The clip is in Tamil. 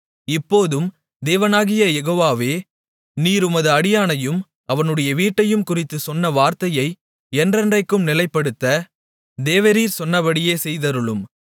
இப்போதும் தேவனாகிய யெகோவாவே நீர் உமது அடியானையும் அவனுடைய வீட்டையும்குறித்துச் சொன்ன வார்த்தையை என்றென்றைக்கும் நிலைப்படுத்த தேவரீர் சொன்னபடியே செய்தருளும்